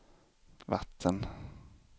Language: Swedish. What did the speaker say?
vatten